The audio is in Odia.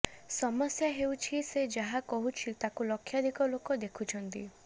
ସମସ୍ୟା ହେଉଛି ସେ ଯାହା କହୁଛି ତାକୁ ଲକ୍ଷାଧିକ ଲୋକ ଦେଖୁଛନ୍ତି